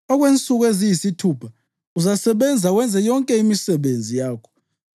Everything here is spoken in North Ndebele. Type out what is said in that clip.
Okwensuku eziyisithupha uzasebenza wenze yonke imisebenzi yakho,